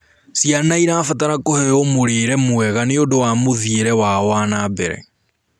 Ciana irabatara kuheo mũrĩre mwega nĩũndũ wa muthiire wao wanambere